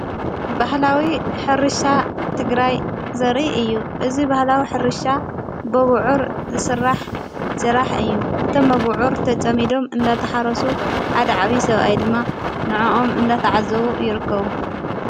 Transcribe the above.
በሕላዊ ሕርሻ ትግራይ ዘርኢ እዩ እዝ ባህላዊ ሕርሻ በብዑር ዝሥራሕ ስራሕ እዩ እቶም አብዑር ተጸሚዶም እንነተሓረሱ ሓድ ዓቢ ሰብኣይ ድማ ንእኦም እንዳተዓዘዉ ይርከቡ ::